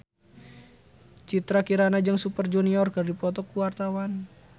Citra Kirana jeung Super Junior keur dipoto ku wartawan